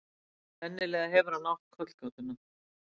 Sennilega hefur hann átt kollgátuna.